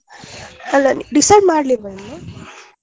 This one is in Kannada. ಅಲ್ಲ decide ಮಾಡ್ಲಿಲ್ವ ಇನ್ನು.